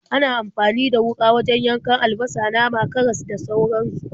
Ana amfani da wuƙa wajen yankan albasa, nama, karas, da sauransu.